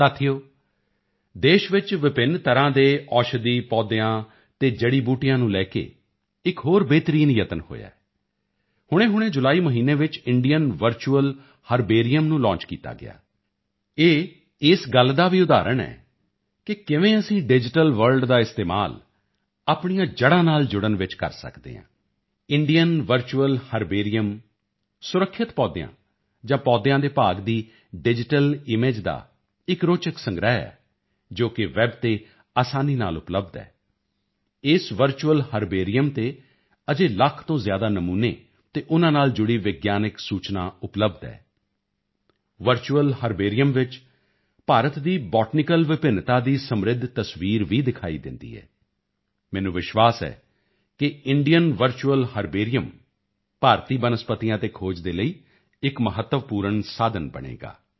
ਸਾਥੀਓ ਦੇਸ਼ ਵਿੱਚ ਵਿਭਿੰਨ ਤਰ੍ਹਾਂ ਦੇ ਔਸ਼ਧੀ ਪੌਦਿਆਂ ਅਤੇ ਜੜੀਬੂਟੀਆਂ ਨੂੰ ਲੈ ਕੇ ਇੱਕ ਹੋਰ ਬਿਹਤਰੀਨ ਯਤਨ ਹੋਇਆ ਹੈ ਹੁਣੇਹੁਣੇ ਜੁਲਾਈ ਮਹੀਨੇ ਵਿੱਚ Indian virtual herbarium Indian virtual herbarium ਨੂੰ ਲਾਂਚ ਕੀਤਾ ਗਿਆ ਇਹ ਇਸ ਗੱਲ ਦਾ ਵੀ ਉਦਾਹਰਣ ਹੈ ਕਿ ਕਿਵੇਂ ਅਸੀਂ ਡਿਜੀਟਲ ਵਰਲਡ ਦਾ ਇਸਤੇਮਾਲ ਆਪਣੀਆਂ ਜੜਾਂ ਨਾਲ ਜੁੜਨ ਵਿੱਚ ਕਰ ਸਕਦੇ ਹਾਂ ਇੰਡੀਅਨ ਵਰਚੁਅਲ ਹਰਬੇਰੀਅਮ ਸੁਰੱਖਿਅਤ ਪੌਦਿਆਂ ਜਾਂ ਪੌਦਿਆਂ ਦੇ ਭਾਗ ਦੀ ਡਿਜੀਟਲ ਈਮੇਜ ਦਾ ਇੱਕ ਰੋਚਕ ਸੰਗ੍ਰਹਿ ਹੈ ਜੋ ਕਿ ਵੈੱਬ ਤੇ ਅਸਾਨੀ ਨਾਲ ਉਪਲਬਧ ਹੈ ਇਸ ਵਰਚੁਅਲ ਹਰਬੇਰੀਅਮ ਤੇ ਅਜੇ ਲੱਖ ਤੋਂ ਜ਼ਿਆਦਾ ਨਮੂਨੇ ਅਤੇ ਉਨ੍ਹਾਂ ਨਾਲ ਜੁੜੀ ਵਿਗਿਆਨਕ ਸੂਚਨਾ ਉਪਲਬਧ ਹੈ ਵਰਚੁਅਲ ਹਰਬੇਰੀਅਮ ਵਿੱਚ ਭਾਰਤ ਦੀ ਬੋਟੈਨੀਕਲ ਵਿਭਿੰਨਤਾ ਦੀ ਸਮ੍ਰਿੱਧ ਤਸਵੀਰ ਵੀ ਦਿਖਾਈ ਦਿੰਦੀ ਹੈ ਮੈਨੂੰ ਵਿਸ਼ਵਾਸ ਹੈ ਕਿ ਇੰਡੀਅਨ ਵਰਚੁਅਲ ਹਰਬੇਰੀਅਮ ਭਾਰਤੀ ਬਨਸਪਤੀਆਂ ਤੇ ਖੋਜ ਦੇ ਲਈ ਇੱਕ ਮਹੱਤਵਪੂਰਨ ਸਾਧਨ ਬਣੇਗਾ